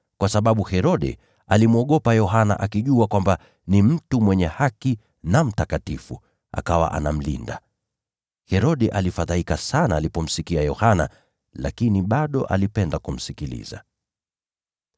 kwa sababu Herode alimwogopa Yohana akijua kwamba ni mtu mwenye haki na mtakatifu, hivyo akamlinda. Herode alifadhaika sana alipomsikia Yohana, lakini bado alipenda kumsikiliza.